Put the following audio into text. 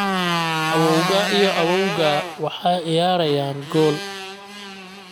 Awowgaa iyo awoowgaa waxay ciyaarayaan gool